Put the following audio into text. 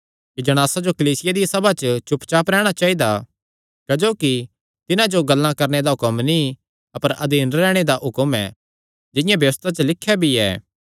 कि जणासां जो कलीसिया दिया सभा च चुप रैहणा चाइदा क्जोकि तिन्हां जो गल्लां करणे दा हुक्म नीं अपर अधीन रैहणे दा हुक्म ऐ जिंआं व्यबस्था च लिख्या भी ऐ